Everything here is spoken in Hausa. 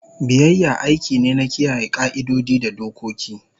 Biyayya aiki ne na kiyaye ƙa'idodi da dokoki.